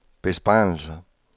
besparelser